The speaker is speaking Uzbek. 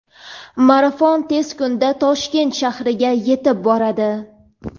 marafon tez kunda Toshkent shahriga yetib boradi.